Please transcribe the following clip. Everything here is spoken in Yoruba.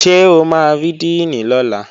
Ṣé o máa rí díìnì lọ́la?